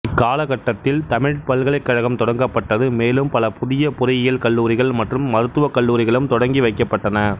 இக்கால கட்டத்தில் தமிழ்ப் பல்கலைக்கழகம் தொடங்கப்பட்டது மேலும் பல புதிய பொறியியல் கல்லூரிகள் மற்றும் மருத்துவக் கல்லூரிகளும் தொடங்கி வைக்கப்பட்டன